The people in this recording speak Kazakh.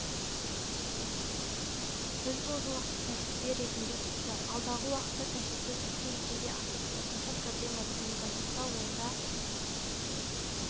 біз бұл жолақты тәжірибе ретінде сыздық алдағы уақытта тәжірибе сәтті жүзеге асып қосымша проблема туындамаса онда